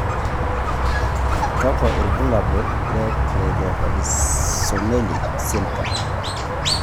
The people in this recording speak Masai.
kakwa ibulaul or Cleidorhizomelic syndrome.